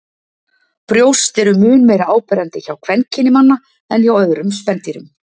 Brjóst eru mun meira áberandi hjá kvenkyni manna en hjá öðrum spendýrum.